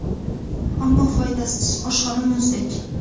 Ammo foydasiz oshxona muzdek.